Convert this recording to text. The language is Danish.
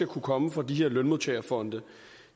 kunne komme fra de her lønmodtagerfonde